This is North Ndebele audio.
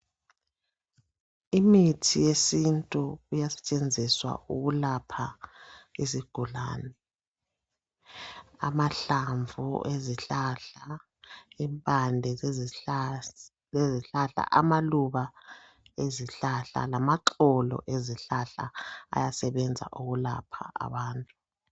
Imithi yesintu iyasetshenziswa ukulapha izigulane amahlamvu ezihlahla, impande zezihlahla, amaluba ezihlahla lamaxolo ezihlahla ay asebenza ukwelapha abantu